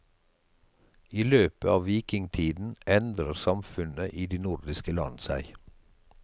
I løpet av vikingtiden endrer samfunnet i de nordisk land seg.